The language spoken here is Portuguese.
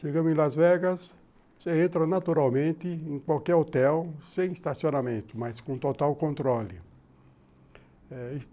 Chegamos em Las Vegas, você entra naturalmente em qualquer hotel, sem estacionamento, mas com total controle.